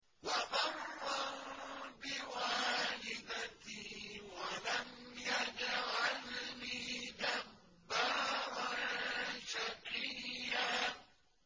وَبَرًّا بِوَالِدَتِي وَلَمْ يَجْعَلْنِي جَبَّارًا شَقِيًّا